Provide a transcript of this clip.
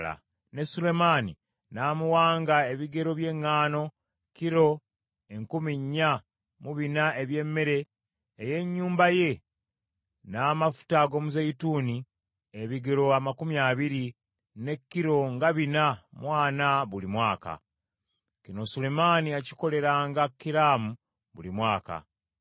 ne Sulemaani n’amuwanga ebigero by’eŋŋaano kilo enkumi nnya mu bina eby’emmere ey’ennyumba ye, n’amafuta ag’omuzeeyituuni ebigero amakumi abiri, ze kilo nga bina mu ana buli mwaka. Kino Sulemaani yakikoleranga Kiramu buli mwaka.